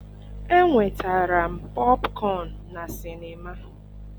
enwetara m popcorn na sinima.